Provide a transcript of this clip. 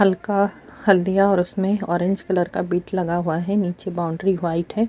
ہلکا ہلدیا اور اسمے اورینج کلر کا بد لگا ہوا ہے اور نیچے بوندرے وائٹ ہے۔